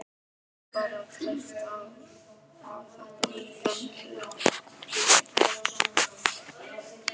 Hann varð bara að treysta á að þetta væri Blönduós.